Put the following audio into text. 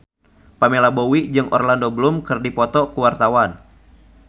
Pamela Bowie jeung Orlando Bloom keur dipoto ku wartawan